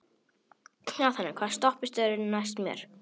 Athena, hvaða stoppistöð er næst mér?